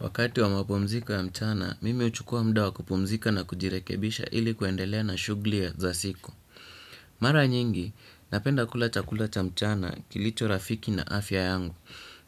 Wakati wa mapumziko ya mchana, mimi huchukua muda wa kupumzika na kujirekebisha ili kuendelea na shugli ya za siku. Mara nyingi, napenda kula chakula cha mchana kilicho rafiki na afya yangu.